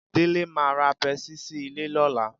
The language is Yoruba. Délé máa ra pẹ́ẹ́sì sí ilé lọ́la